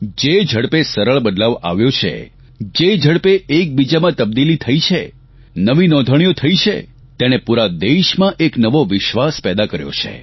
જે ઝડપે સરળ બદલાવ આવ્યો છે જે ઝડપે એકબીજામાં તબદીલી થઇ છે નવી નોંધણીઓ થઇ છે તેણે પૂરા દેશમાં એક નવો વિશ્વાસ પેદા કર્યો છે